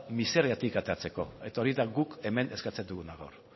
miseratik ateratzeko eta hori da guk hemen eskertzen duguna gaur